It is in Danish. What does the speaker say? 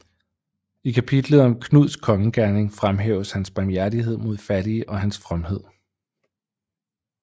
I kapitlet om Knuds kongegerning fremhæves hans barmhjertighed mod fattige og hans fromhed